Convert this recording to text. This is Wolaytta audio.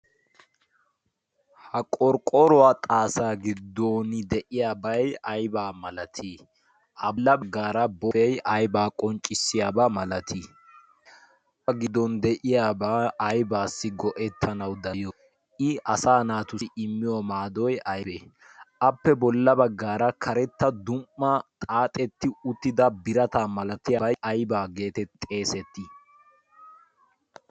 ha qorqqoruwaa xaasaa giddon de'iyaabai aybaa malatii a bolla baggaara bollay aybaa qonccissiyaabaa malatiiyabba giddon de'iyaabaa aybaassi go'ettanau da'iyo i asa naatussi immiyo maadoy aybee appe bolla baggaara karetta dum''a xaaxetti uttida birata malatiyaabay aybaa geete xeesettii